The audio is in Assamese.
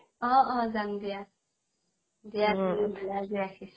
অ অ যাম দিয়া, দিয়া নহলে আজি ৰাখিছো